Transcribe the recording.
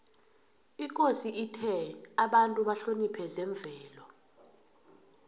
ikosi ithe abantu bahloniphe zemvelo